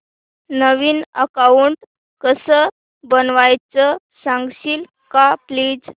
नवीन account कसं बनवायचं सांगशील का प्लीज